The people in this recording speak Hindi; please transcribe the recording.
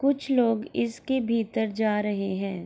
कुछ लोग इसके भीतर जा रहे हैं।